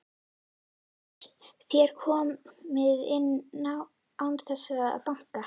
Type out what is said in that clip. LÁRUS: Þér komið inn án þess að banka.